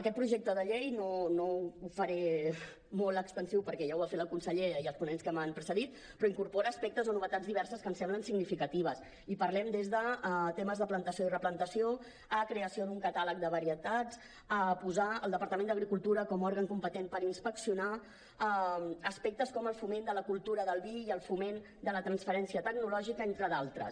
aquest projecte de llei no ho faré molt extensiu perquè ja ho han fet la consellera i els ponents que m’han precedit però incorpora aspectes o novetats diverses que em semblen significatius i parlem des de temes de plantació i replantació a creació d’un catàleg de varietats a posar el departament d’agricultura com òrgan competent per inspeccionar aspectes com el foment de la cultura del vi i el foment de la transferència tecnològica entre d’altres